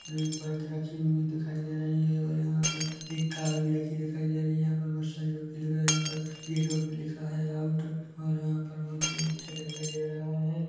--और एक बाइक रखी हुई दिखाई दे रही है और यहाँ पर एक कार भी रखी दिखाई दे रही है यहाँ पर बहुत सारे व्यक्ति दिखाई दे रहे है यहाँ पर गेटों पर लिखा है आउट और यहाँ पर बहुत ही अच्छा दिखाई दे रहा है ।